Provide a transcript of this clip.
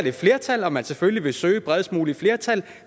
et flertal og at man selvfølgelig vil søge bredest mulige flertal